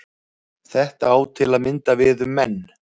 Þetta á til að mynda við um menn.